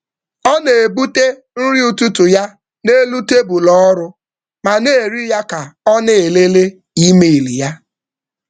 Ọ na-ebute nri ụtụtụ ya n’elu tebụl ọrụ ma na-eri ya ka ọ na-elele email ya.